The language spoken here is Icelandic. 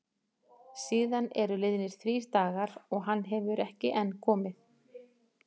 Síðan eru liðnir þrír dagar og hann hefur enn ekki komið.